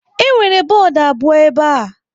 Enwere bọọdụ abụọ ebe a.